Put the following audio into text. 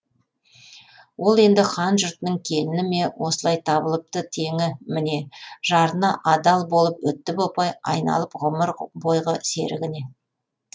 ол енді хан жұртының келіні ме осылай табылыпты теңі міне жарына адал болып өтті бопай айналып ғұмыр бойғы серігіне